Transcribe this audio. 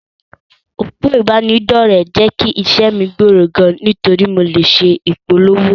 Òpó ìbánidọ́rẹ̀, jẹ́ kí iṣẹ́ mi gbòòrò gan, nítorí pé mo lè ṣe ìpolówó.